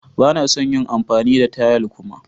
Ba na son yin amfani da tayal kuma.